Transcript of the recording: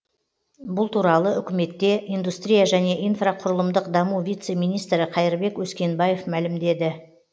бұл туралы үкіметте индустрия және инфрақұрылымдық даму вице министрі қайырбек өскенбаев мәлімдеді